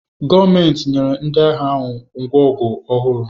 Gọọmenti nyere ndị agha ahụ ngwa ọgụ ọhụrụ